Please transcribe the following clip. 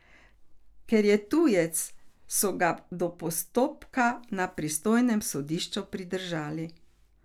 Ker je tujec, so ga do postopka na pristojnem sodišču pridržali.